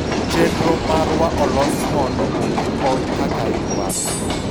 chenro marwa olos mondo omi kony kaka idwaro